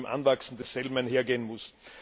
mit dem Anwachsen desselben einhergehen muss.